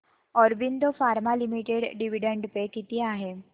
Aurobindo pharma limited dividend pay किती आहे